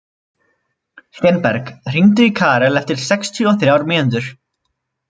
Steinberg, hringdu í Karel eftir sextíu og þrjár mínútur.